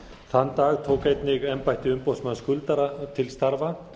þann dag tók einnig embætti umboðsmanns skuldara til starfa